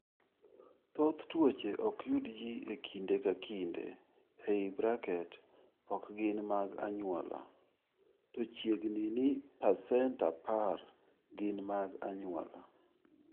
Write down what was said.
Thoth tuoche ok yud ji e kinde ka kinde (ok gin mag anyuola), to chiegni ni pasent 10 gin mag anyuola.